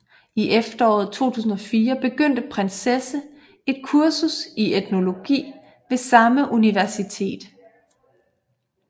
I efteråret 2004 begyndte prinsessen et kursus i etnologi ved samme universitet